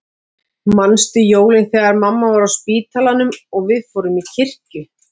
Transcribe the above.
Manstu jólin þegar mamma var á spítalanum og við fórum í kirkju?